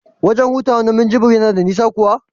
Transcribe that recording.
wajen hutawa na Munjibir yana da nisa kuwa?